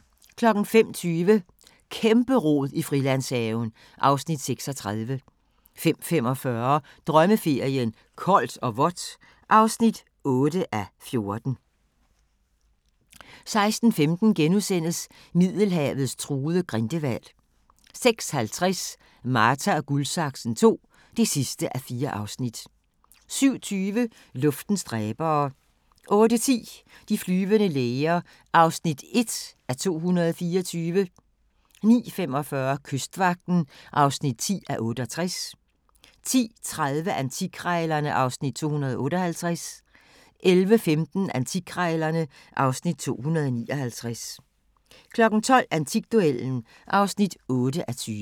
05:20: Kæmpe-rod i Frilandshaven (Afs. 36) 05:45: Drømmeferien: Koldt og vådt (8:14) 06:15: Middelhavets truede grindehval * 06:50: Marta & Guldsaksen II (4:4) 07:20: Luftens dræbere 08:10: De flyvende læger (1:224) 09:45: Kystvagten (10:68) 10:30: Antikkrejlerne (Afs. 258) 11:15: Antikkrejlerne (Afs. 259) 12:00: Antikduellen (8:20)